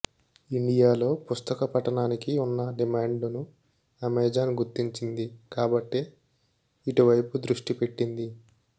ఇండియాలో పుస్తక పఠనానికి వున్న డిమాండుని అమెజాన్ గుర్తించింది కాబట్టే ఇటు వైపు దృష్టి పెట్టింది